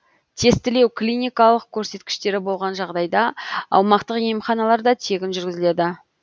тестілеу клиникалық көрсеткіштері болған жағдайда аумақтық емханаларда тегін жүргізіледі